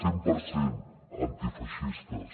cent per cent antifeixistes